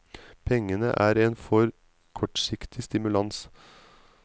Pengene er en for kortsiktig stimulans.